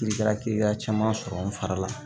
Kiri kɛra kiliyan caman sɔrɔ n fari la